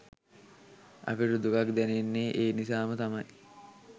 අපිට දුකක් දැනෙන්නේ ඒ නිසාම තමයි